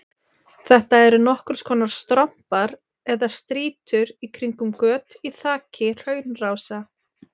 Þetta eru nokkurs konar strompar eða strýtur í kringum göt í þaki hraunrása.